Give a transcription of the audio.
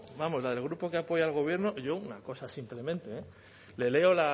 vamos la del grupo que apoya al gobierno yo una cosa simplemente eh le leo